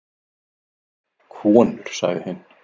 Konur sagði hinn.